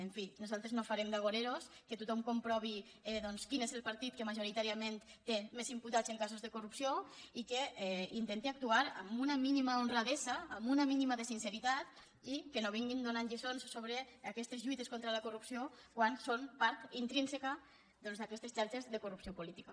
en fi nosaltres no farem d’vi doncs quin és el partit que majoritàriament té més imputats en casos de corrupció i que intente actuar amb una mínima honradesa amb un mínim de sinceritat i que no vinguin donant lliçons sobre aquestes lluites contra la corrupció quan són part intrínseca doncs d’aquestes xarxes de corrupció política